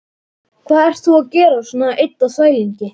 Hvað ert þú að gera svona einn á þvælingi?